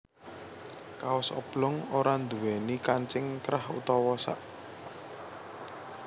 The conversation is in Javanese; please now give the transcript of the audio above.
Kaos oblong ora nduwèni kancing krah utawa sak